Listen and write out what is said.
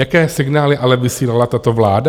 Jaké signály ale vysílala tato vláda?